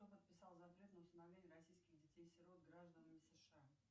кто подписал запрет на усыновление российских детей сирот гражданами сша